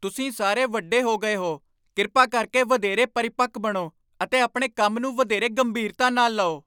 ਤੁਸੀਂ ਸਾਰੇ ਵੱਡੇ ਹੋ ਗਏ ਹੋ! ਕਿਰਪਾ ਕਰਕੇ ਵਧੇਰੇ ਪਰਿਪੱਕ ਬਣੋ ਅਤੇ ਆਪਣੇ ਕੰਮ ਨੂੰ ਵਧੇਰੇ ਗੰਭੀਰਤਾ ਨਾਲ ਲਓ।